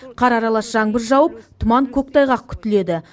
қар аралас жаңбыр жауып тұман көктайғақ күтіледі